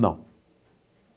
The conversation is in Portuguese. Não.